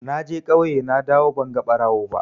Naje ƙauye nadawo banga ɓarawo ba.